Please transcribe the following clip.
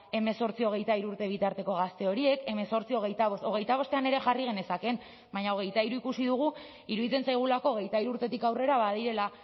hemezortzi hogeita hiru urte bitarteko gazte horiek hemezortzi hogeita bost hogeita bostean ere jarri genezakeen baina hogeita hiru ikusi dugu iruditzen zaigulako hogeita hiru urtetik aurrera badirela